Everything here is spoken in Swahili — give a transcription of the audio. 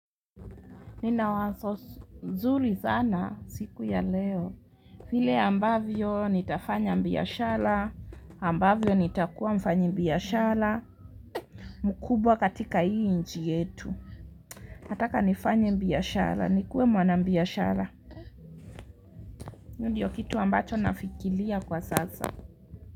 Nina wazo zuri zana siku ya leo vile ambavyo nitafanya mbiashala ambavyo nitakuwa mfanyibiashara mkubwa katika hii inchi yetu nataka nifanye mbiashara nikuwe mwanabiashara hiyo ndiyo kitu ambacho nafikilia kwa sasa.